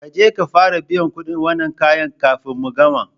Kaje ka fara biyan kuɗin wannan kayan kafin mu gama